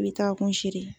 I bɛ taa kun si de